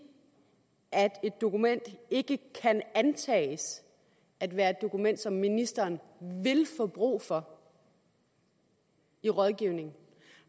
at et dokument ikke kan antages at være et dokument som ministeren vil få brug for i rådgivning